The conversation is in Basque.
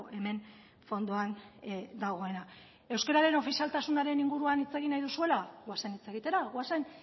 hemen fondoan dagoena euskararen ofizialtasunaren inguruan hitz egin nahi duzuela goazen hitz egitera goazen